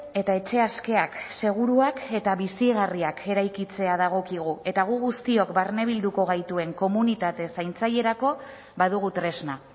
eta etxe askeak seguruak eta bizigarriak eraikitzea dagokigu eta gu guztiok barne bilduko gaituen komunitate zaintzailerako badugu tresna